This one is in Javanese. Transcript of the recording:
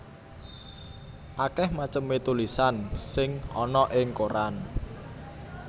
Akèh macemé tulisan sing ana ing koran